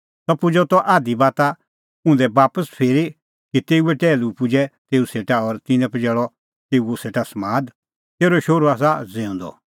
सह पुजअ त आधी बाता उंधै बापस फिरी कि तेऊए टैहलू पुजै तेऊ सेटा और तिन्नैं पजैल़अ तेऊ सेटा समाद तेरअ शोहरू आसा ज़िऊंदअ